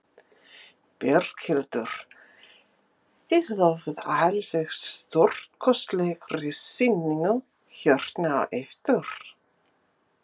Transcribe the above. Berghildur: Þið lofið alveg stórkostlegri sýningu hérna á eftir?